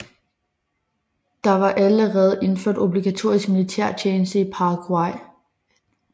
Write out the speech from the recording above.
Der var allerede indført obligatorisk militærtjeneste i Paraguay